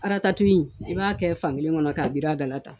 i b'a kɛ fankelen kɔnɔ k'a biri a dala ta.